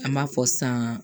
An b'a fɔ san